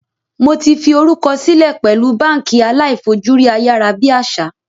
Mó ti fi orúkọ silẹ pẹ̀lú báànkì aláì fojú rí ayárábiàsà